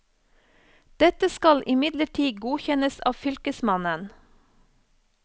Dette skal imidlertid godkjennes av fylkesmannen.